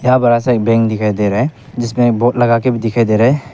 या बड़ा सा एक बैंक दिखाई दे रहा है जिसमें एक बोर्ड लगा के भी दिखाई दे रहा है।